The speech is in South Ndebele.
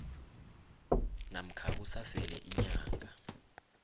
namkha kusasele iinyanga